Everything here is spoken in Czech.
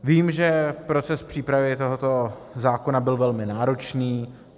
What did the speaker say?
Vím, že proces přípravy tohoto zákona byl velmi náročný.